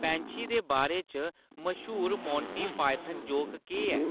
पैंछी दे बारे च मश्हूर मोंटी पायथन जोक केह्‌‌ ऐ